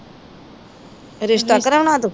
ਰਿਸ਼ਤਾ ਕਰਾਉਣਾ ਤੂੰ?